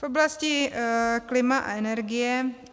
V oblasti klima a energie.